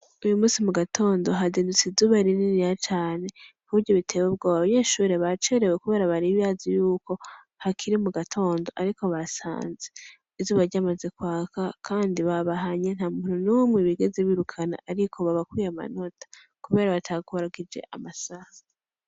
Uyu musi mu gatondo, hazindutse izuba rininiya cane, kuburyo biteye ubwoba. Abanyeshure bacerewe kubera bari bibaza yuko, hakiri mu gatondo, ariko basanze izuba ryamaze kwaka, kandi babahanye nta muntu numwe bigeze birukana, ariko babakuye amanota, kubera batakurikije amasaha.